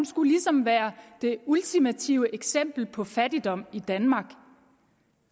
skulle ligesom være det ultimative eksempel på fattigdom i danmark